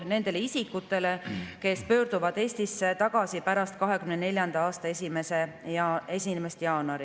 Nendele isikutele, kes pöörduvad Eestisse tagasi pärast 2024. aasta 1. jaanuari, [toetust ei määrata.